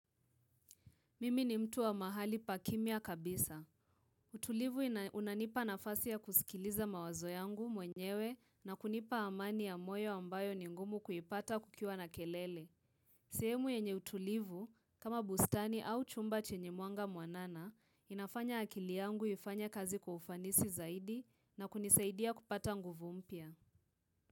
Mimi ni mtu wa mahali pakimia kabisa. Utulivu unanipa nafasi ya kusikiliza mawazo yangu mwenyewe na kunipa amani ya moyo ambayo ni ngumu kuyipata kukiwa na kelele. Sehemu yenye utulivu, kama bustani au chumba chenye muanga mwanana, inafanya akili yangu ifanye kazi kwa kufanisi zaidi na kunisaidia kupata nguvu mpya.